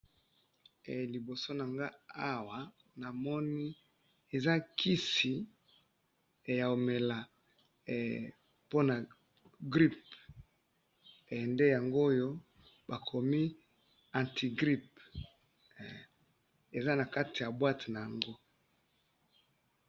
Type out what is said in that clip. ee libosonanga awa namoni ezakisi yaomela eh pona gripe eh ndeyango oyo bakomi antigrip ee ezanakati ya boite nango